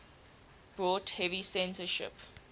brought heavy censorship